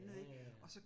Ja ja ja